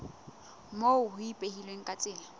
moo ho ipehilweng ka tsela